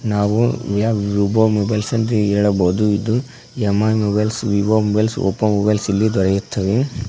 ನಾವು ವಿಯ Vivo mobiles ಎಂದು ಹೇಳಬಹುದು ಇದು M I mobiles Vivo mobiles Oppo mobiles ಇಲ್ಲಿ ದೊರೆಯುತ್ತವೆ.